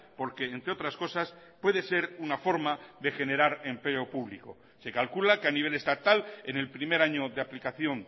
porque entre otras cosas puede ser una forma de generar empleo público se calcula que a nivel estatal en el primer año de aplicación